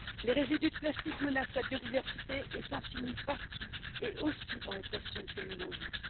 Les résidus de plastique menacent la biodiversité et s'insinuent partout, et aussi dans les poissons que nous mangeons.